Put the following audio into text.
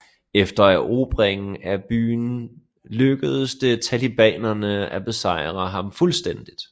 Efter erobringen af byen lykkedes det talibanerne at besejre ham fuldstændigt